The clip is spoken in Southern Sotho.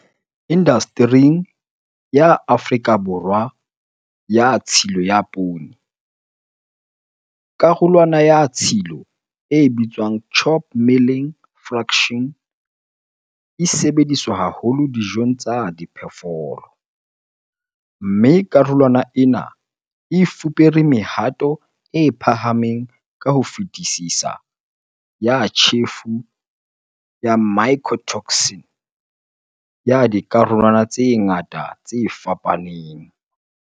Indastering ya Afrika Borwa ya tshilo ya poone, karolwana ya tshilo e bitswang chop milling fraction e sebediswa haholo dijong tsa diphoofolo, mme karolwana ena e fupere mehato e phahameng ka ho fetisisa ya tjhefo ya mycotoxin ya dikarolwana tse ngata tse fapaneng.